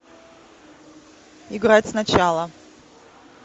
играть сначала